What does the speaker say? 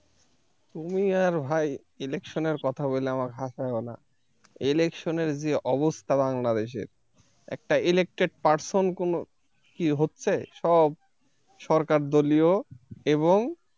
তুমি আর ভাই election এর কথা বলে আমার হাসায়ও না election এর যে অবস্থা বাংলাদেশের একটা elected person কোন কি হচ্ছে সব সরকারদলীয় এবং,